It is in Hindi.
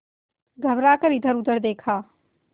घबरा कर इधरउधर देखा